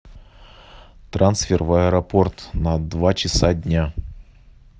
трансфер в аэропорт на два часа дня